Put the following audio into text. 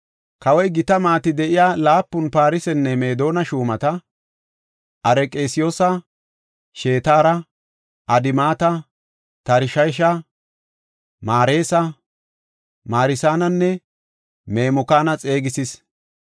Kawoy gita maati de7iya laapun Farsenne Meedona shuumata, Arqesiyoosa, Shetara, Adimata, Tarshesha, Mareesa, Marsananne Memukaana xeegisis.